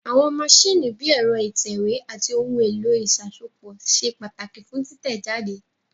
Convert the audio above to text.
Àwọn maṣíìnì bíi ẹ̀rọ ìtẹ̀wé àti ohun èlò ìṣàsopọ̀ ṣe pàtàkì fún títẹ̀ jáde